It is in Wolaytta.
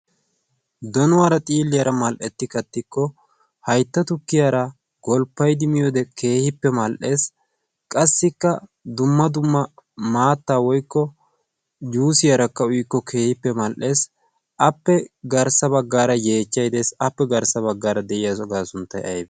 donuwaara xiilliyaara mal"etti kattikko haytta tukkiyaara golppaidimi ode keehippe mal"ees. qassikka dumma dumma maatta woikko yuusiyaarakka uyikko keehippe mal"ees. appe garssa baggaara yeechchay dees appe garssa baggaara de'iya ogaa sunttay aybe?